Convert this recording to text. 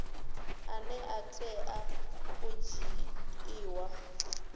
ane a tea u dzhiiwa